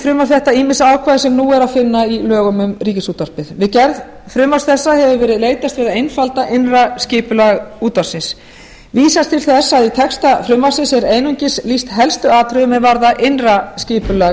í frumvarp þetta ýmis ákvæði sem nú er að finna í lögum um ríkisútvarpið við gerð frumvarps þessa hefur verið leitast við að einfalda innra skipulag útvarpsins vísar til þess að í texta frumvarpsins er einungis lýst helstu atriðum er varða innra skipulag